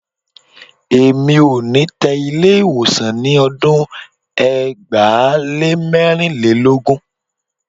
Èmi ò ní tẹ Ilé-ìwọ̀sàn ní ọdún ẹgbàá lé mẹ́rìnlélógún.